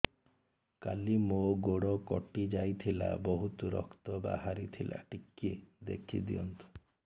କାଲି ମୋ ଗୋଡ଼ କଟି ଯାଇଥିଲା ବହୁତ ରକ୍ତ ବାହାରି ଥିଲା ଟିକେ ଦେଖି ଦିଅନ୍ତୁ